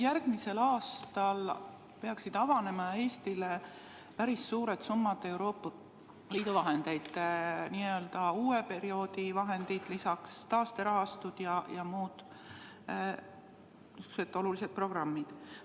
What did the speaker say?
Järgmisel aastal peaksid avanema Eestile päris suured summad Euroopa Liidu vahendeid, n-ö uue perioodi vahendeid, lisaks taasterahastud ja muud sellised olulised programmid.